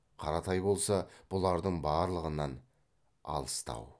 қаратай болса бұлардың барлығынан алыстау